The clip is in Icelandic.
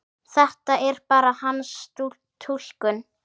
Þetta er bara hans túlkun.